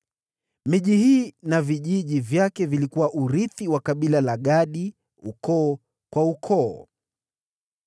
Miji hii na vijiji vyake ilikuwa urithi wa kabila la Gadi ukoo kwa ukoo.